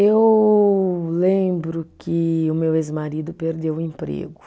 Eu lembro que o meu ex-marido perdeu o emprego.